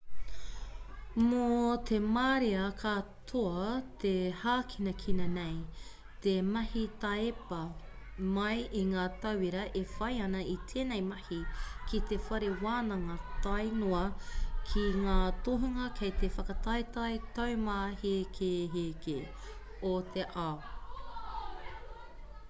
mō te marea katoa te hākinakina nei te mahi taiepa mai i ngā tauira e whai ana i tēnei mahi ki te whare wānanga tāe noa ki ngā tohunga kei te whakataetae taumāhekeheke o te ao